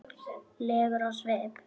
legur á svip.